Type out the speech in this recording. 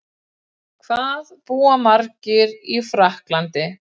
Hvað búa margir í Frakklandi?